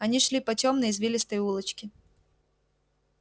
они шли по тёмной извилистой улочке